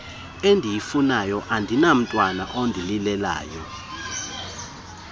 endiyifunayo andinamntwana ondalelelayo